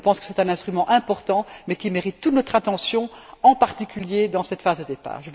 Je pense que c'est un instrument important, mais qui mérite toute notre attention, en particulier dans cette phase de départ.